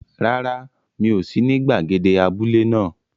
Rárá, mi ò sí ní gbàgede abúlé náà.